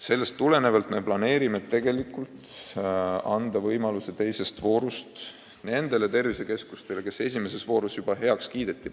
Sellest tulenevalt me plaanime anda teise vooru ajal võimaluse ka nendele tervisekeskustele, kelle projekt esimeses voorus heaks kiideti.